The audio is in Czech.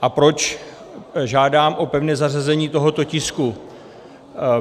A proč žádám o pevné zařazení tohoto tisku?